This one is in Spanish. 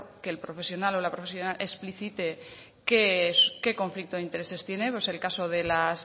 que el profesional o la profesional explicite qué conflicto de intereses tiene pues el caso de las